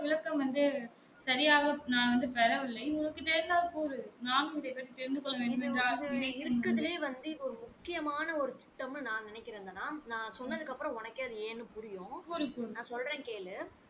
இங்க இருக்கறதுலையே வந்து இப்ப முக்கியமான ஒரு திட்டம்ன்னு நா நெனைக்கற தனா இப்ப நா சொன்னதுக்கு அப்பறம் உனக்கே அது ஏன்னு புரியும் நா சொல்ற கேளு